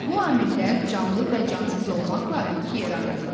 Bu amillər canlı və cansız olmaqla iki yerə ayrılır.